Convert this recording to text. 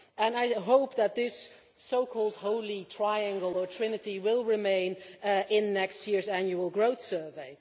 I hope that this so called holy triangle or trinity will remain in next year's Annual Growth Survey.